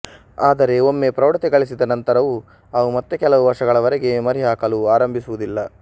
ಆದರೆ ಒಮ್ಮೆ ಪ್ರೌಢತೆ ಗಳಿಸಿದ ನಂತರವೂ ಅವು ಮತ್ತೆ ಕೆಲವು ವರ್ಷಗಳವರೆಗೆ ಮರಿಹಾಕಲು ಆರಂಭಿಸುವುದಿಲ್ಲ